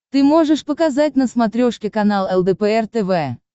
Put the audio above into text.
ты можешь показать на смотрешке канал лдпр тв